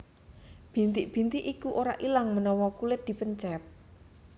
Bintik bintik iki ora ilang menawa kulit dipencet